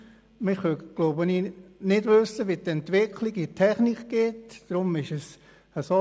Wir wissen nicht, wie die Entwicklung der Technik verlaufen wird.